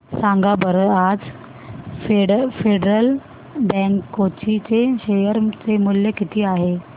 सांगा बरं आज फेडरल बँक कोची चे शेअर चे मूल्य किती आहे